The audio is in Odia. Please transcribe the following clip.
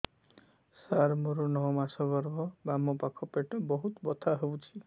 ସାର ମୋର ନଅ ମାସ ଗର୍ଭ ବାମପାଖ ପେଟ ବହୁତ ବଥା ହଉଚି